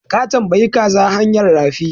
Ka tambayi kaza hanyan rafi?